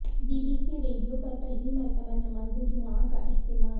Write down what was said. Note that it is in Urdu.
بی بی سی ریڈیو پر پہلی مرتبہ نماز جمعہ کا اہتمام